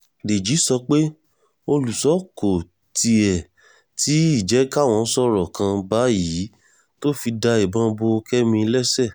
dèjì sọ pé olùṣọ́ kò tiẹ̀ tí ì jẹ́ káwọn sọ̀rọ̀ kan báyìí tó fi da ìbọn bo kẹ́mi lẹ́sẹ̀